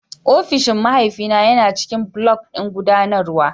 Ofishin mahaifina yana ciƙin block ɗin guɗanarwa